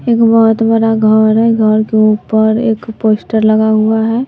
एक बहोत बड़ा घर है घर के ऊपर एक पोस्टर लगा हुआ है।